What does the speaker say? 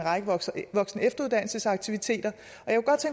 række voksen og efteruddannelsesaktiviteter